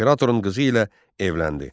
İmperatorun qızı ilə evləndi.